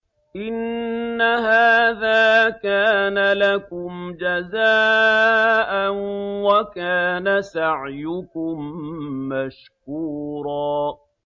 إِنَّ هَٰذَا كَانَ لَكُمْ جَزَاءً وَكَانَ سَعْيُكُم مَّشْكُورًا